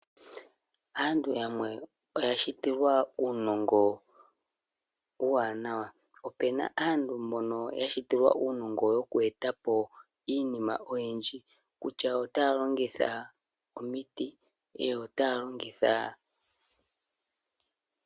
Aantu yamwe oya shitilwa unongo uwanawa, opena aantu mbono yashitilwa unongo yokwetapo iinima oyindji kutya otalongitha omiti nenge ota longitha.